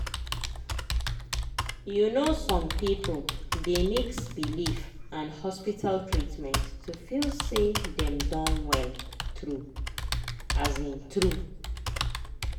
you know some people dey mix belief and hospital treatment to feel say dem don well true um true.